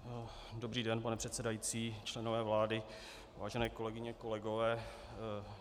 Dobrý den, pane předsedající, členové vlády, vážené kolegyně, kolegové.